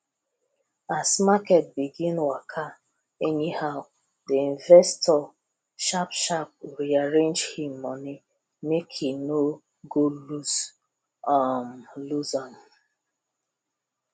as market begin waka anyhow the investor sharpsharp rearrange him money make he no go loose um loose um